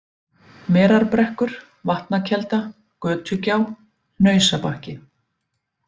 Merarbrekkur, Vatnakelda, Götugjá, Hnausabakki